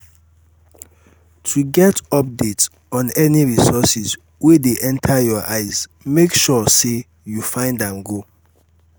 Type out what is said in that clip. to get update on any reources wey dey enter your eyes make sure say you find am go